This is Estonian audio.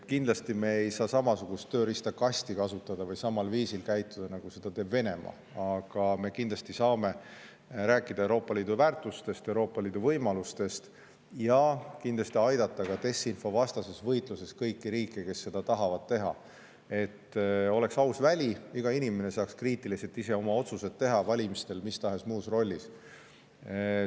Kindlasti me ei saa kasutada samasugust tööriistakasti või käituda samal viisil, nagu teeb seda Venemaa, aga me kindlasti saame rääkida Euroopa Liidu väärtustest ja võimalustest ning kindlasti aidata ka desinfo vastases võitluses kõiki riike, kes seda tahavad teha, et oleks aus mänguväli selleks, et iga inimene saaks teha ise kriitiliselt oma otsuseid valimistel või mis tahes muus rollis.